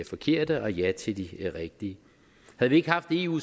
forkerte og ja til de rigtige havde vi ikke haft eu